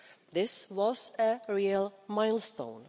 this was a real milestone.